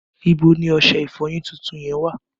Ibo ni ọṣẹ ìfọyín tuntun yẹn wà?